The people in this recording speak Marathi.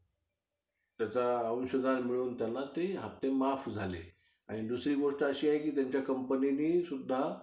तर realme पण better जाईल तुमचा budget च्या हिशोबानी नाहीतर